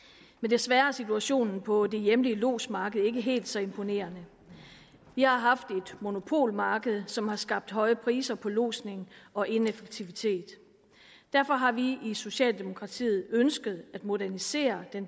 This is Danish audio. men desværre er situationen på det hjemlige lodsmarked ikke helt så imponerende vi har haft et monopolmarked som har skabt høje priser på lodsning og ineffektivitet derfor har vi i socialdemokratiet ønsket at modernisere